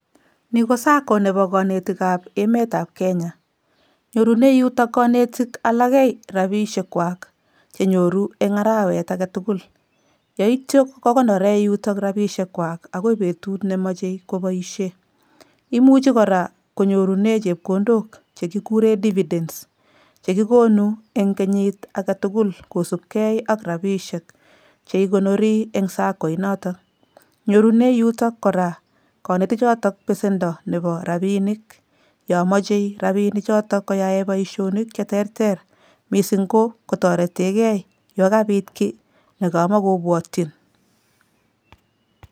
Ni ko Sacco nebo kanetikab emetab Kenya, nyorune yutok kanetik alakei rabiishekwak che nyoru eng arawet age tugul, yoityo kokonore yutok rabiishekwak akoi betut ne machei koboisie. Imuchi kora konyorune chepkondok che kikure dividence che kikonu eng kenyit ake tugul kosupkei ak rabiishek che ikonori eng Sacco inotok. Nyorune yutok kora konetichoto besendo nebo rabiinik yo moche rabiinichoto koyae boisionik che terter mising ko kotoretekei yo kabit kiy ne kamakobwotyin.